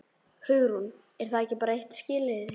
Hugrún: Er það ekki bara eitt skilyrðið?